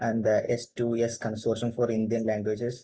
and the സ്‌2സ്‌ consortium for Indian languages